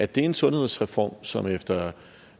det en sundhedsreform som efter